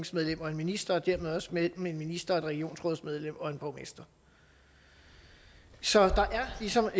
og en minister og dermed også mellem en minister og et regionsrådsmedlem og en borgmester så der er ligesom